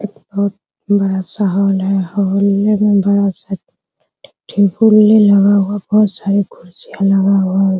एक बहुत बड़ा सा हॉल है हॉल में दोनों साइड टेबल लगा हुआ है बहुत सारे कुर्सियां लगा हुआ हैं।